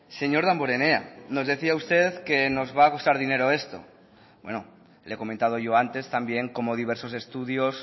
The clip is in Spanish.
señor damborenea nos decía usted que nos va a costar dinero esto bueno le he comentado yo antes también cómo diversos estudios